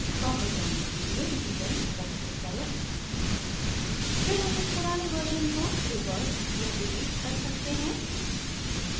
वापस जाने के लिए revisions पर click करें फिर हम उस पुराने version को revert या delete कर सकते हैं